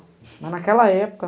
Mas, naquela época,